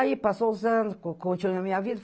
Aí passou os anos, con continuei a minha vida.